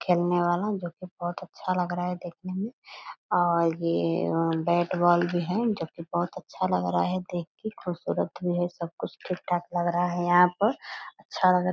खेलने वाला जो की बहुत अच्छा लग रहा है देखने में और ये बैट - बॉल भी है जो की बहुत अच्छा लग रहा है देखके खूबसूरत भी है सब कुछ ठीक-ठाक लग रहा है यहाँ पर अच्छा लग रहा --